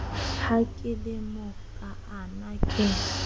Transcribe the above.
ha ke le mokaana ke